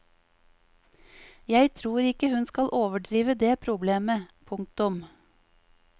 Jeg tror ikke hun skal overdrive det problemet. punktum